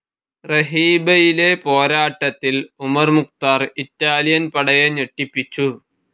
റഹീബയിലെ പോരാട്ടത്തിൽ Omar Mukhtar Italian പടയെ ഞെട്ടിപ്പിച്ചു.